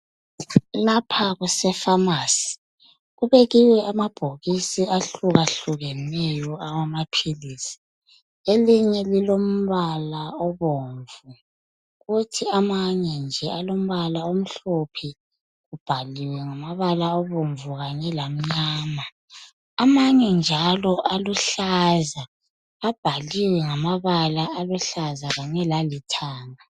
Lapha kusefamasi kubekiwe amabhokisi ahlukeneyo awamaphilisi. Elinye lilombala obomvu kuthi amanye nje alombala omhlophe kubhaliwe ngamabala abomvu lamnyama amanye njalo aluhlaza abhaliwe ngamabala aluhlaza kanye lalithanga